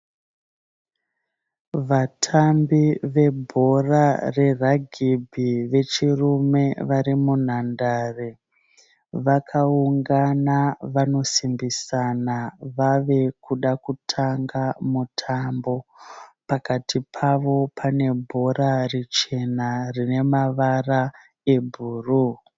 Vatambi vebhora reragibhi vechirume vari munhandare. Vakaungana vanosimbisana vave kuda kutamba mutambo. Pakati pavo pane bhora richena rine mavara ebhuruu.